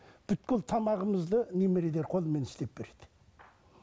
тамағымызды қолмен істеп береді